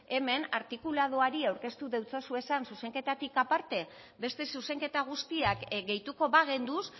hemen artikuladoari aurkeztu deutsazuezan zuzenketatik aparte beste zuzenketa guztiak gehituko bagenduz